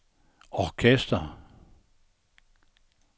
orkester